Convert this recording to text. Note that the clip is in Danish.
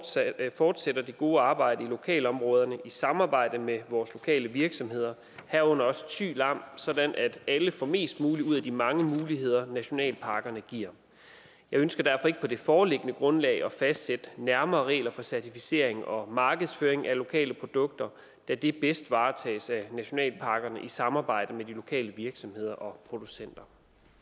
fortsætter det gode arbejde i lokalområderne i samarbejde med vores lokale virksomheder herunder også thy lam sådan at alle får mest muligt ud af de mange muligheder nationalparkerne giver jeg ønsker derfor ikke på det foreliggende grundlag at fastsætte nærmere regler for certificering og markedsføring af lokale produkter da det bedst varetages af nationalparkerne i samarbejde med de lokale virksomheder og producenter